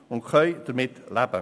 Wir können damit leben.